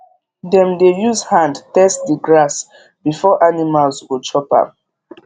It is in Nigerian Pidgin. dem dey use hand test the grass before animals go chop am